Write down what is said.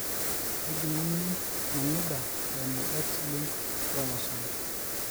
kejunguni nangida eimu x linked chromosome